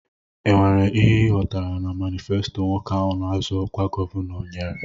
E nwere ihe I ghọtara na manifesto nwoke ahụ na-azọ ọkwa gọvanọ nyere?